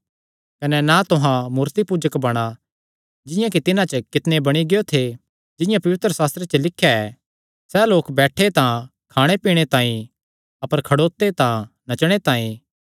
कने ना तुहां मूर्तिपूजक बणा जिंआं कि तिन्हां च कितणे बणी गियो थे जिंआं पवित्रशास्त्रे च लिख्या ऐ सैह़ लोक बैठे तां खाणे पीणे तांई अपर खड़ोते तां नचणे तांई